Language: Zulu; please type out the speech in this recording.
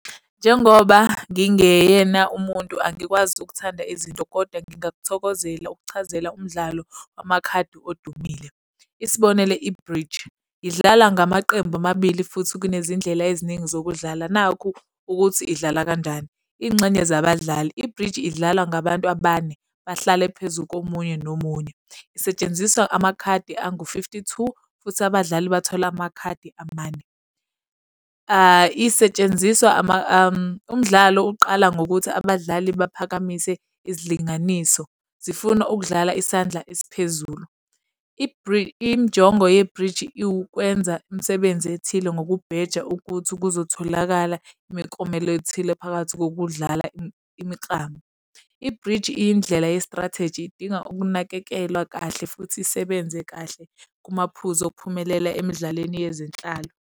Njengoba ngingeyena umuntu angikwazi ukuthanda izinto kodwa ngingakuthokozela ukuchazela umdlalo wamakhadi odumile. Isibonelo, i-bridge, idlala ngamaqembu amabili futhi kunezindlela eziningi zokudlala. Nakhu ukuthi idlala kanjani, iy'ngxenye zabadlali. I-bridge idlalwa ngabantu abane, bahlale phezu komunye nomunye. Isetshenziswa amakhadi angu-fifty-two, futhi abadlali bathole amakhadi amane. Isetshenziswa umdlalo uqala ngokuthi abadlali baphakamise izilinganiso, zifuna ukudlala isandla esiphezulu. Injongo ye-bridge iwukwenza imisebenzi ethile ngokubheja ukuthi kuzotholakala imiklomelo ethile phakathi kokudlala imiklamo. I-bridge iyindlela ye-strategy idinga ukunakekelwa kahle futhi isebenze kahle kumaphuzu okuphumelela emidlalweni yezenhlalo.